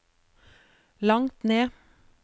langt ned